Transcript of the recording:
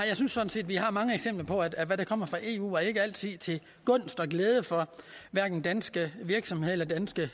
jeg synes sådan set vi har mange eksempler på at hvad der kommer fra eu ikke altid er til gunst og glæde for danske virksomheder eller danske